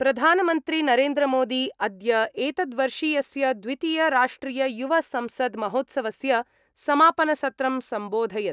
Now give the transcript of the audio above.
प्रधानमन्त्रीनरेद्रमोदी अद्य एतद्-वर्षीयस्य द्वितीय-राष्ट्रिय-युव-संसद् महोत्सवस्य समापनसत्रं सम्बोधयत्।